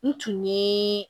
N tun ye